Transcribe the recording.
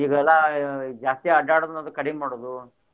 ಇದೆಲ್ಲಾ ಜಾಸ್ತಿ ಅಡ್ಯಾಡೊದದು ಕಡಿಮಿ ಮಾಡೋದು.